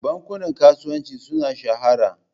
Bankunan kasuwanci sun shahara.